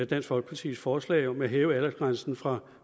dansk folkepartis forslag om at hæve aldersgrænsen fra